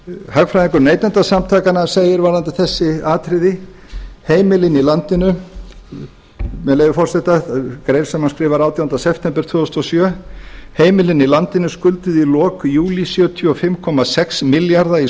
hagfræðingur neytendasamtakanna segir varðandi þessi atriði með leyfi forseta í grein sem hann skrifar átjánda september tvö þúsund og sjö heimilin í landinu skulduðu í lok júlí sjötíu og fimm komma sex milljarða í